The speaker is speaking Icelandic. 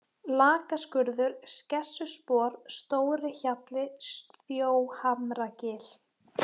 Lakaskurður, Skessuspor, Stórihjallli, Þjóhamragil